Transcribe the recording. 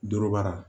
Dorobara